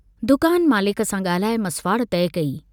दुकान मालिक सां ग्राल्हाए मसवाड़ तइ कई।